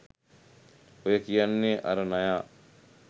ඔය කියන්නේ අර නයා